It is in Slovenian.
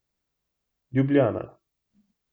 Ljubljana.